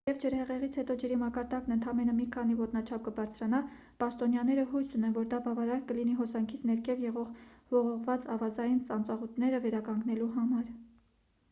թեև ջրհեղեղից հետո ջրի մակարդակն ընդամենը մի քանի ոտնաչափ կբարձրանա պաշտոնյաները հույս ունեն որ դա բավարար կլինի հոսանքից ներքև եղող ողողված ավազային ծանծաղուտները վերականգնելու համար